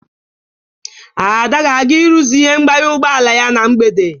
Ada ga-aga ịrụzi ihe mgbanye ụgbọala ya na mgbede.